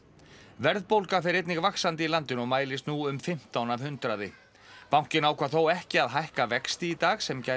verðbólga fer einnig vaxandi í landinu og mælist nú um fimmtán af hundraði bankinn ákvað þó ekki að hækka vexti í dag sem gæti